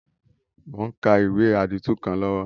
Mo n ka ìwé àdìtú kan lọ́wọ́